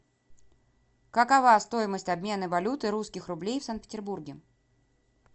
какова стоимость обмена валюты русских рублей в санкт петербурге